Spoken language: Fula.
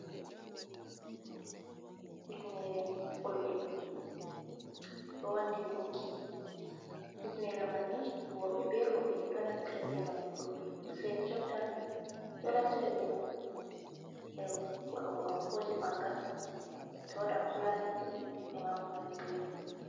Hifinere fulɓe ɗo wandi gunki hifinere manni worɓe beroɓe ɗo naffira ɓe mai fulɓe sei ni jotta ɗo naffira be mai her waɗugo ankoji ɓangal to waɗan fulani de è mako nandi be mai.